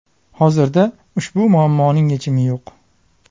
Hozirda ushbu muammoning yechimi yo‘q.